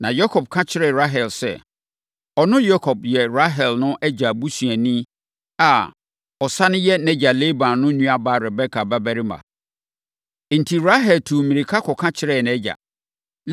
Na Yakob aka akyerɛ Rahel sɛ, ɔno Yakob yɛ Rahel no agya busuani a ɔsane yɛ nʼagya Laban no nuabaa Rebeka babarima. Enti, Rahel tuu mmirika kɔka kyerɛɛ nʼagya.